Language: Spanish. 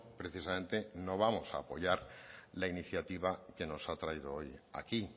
precisamente no vamos a apoyar la iniciativa que nos ha traído hoy aquí